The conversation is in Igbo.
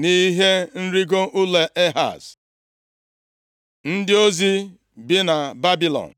nʼihe nrigo ụlọ Ehaz. Ndị ozi si Babilọn